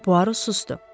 Poirot susdu.